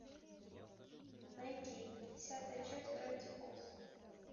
найти десятая часть гравити фолз